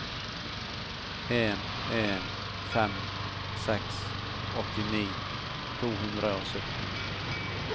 en en fem seks åttini to hundre og sytten